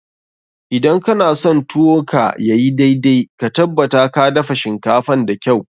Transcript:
Idan kana son tuwo ka ya yi daidai, ka tabbata ka dafa shinkafan da kyau.